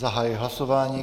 Zahajuji hlasování.